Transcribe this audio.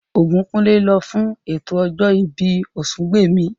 Ògúnkúnlé lọ fún ètò ọjọ́ ìbí Ọ̀sungbèmí